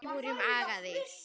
Við vorum agaðir.